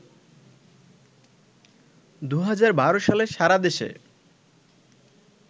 ২০১২ সালে সারা দেশে